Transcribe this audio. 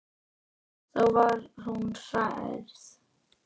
Þá var hún hrærð.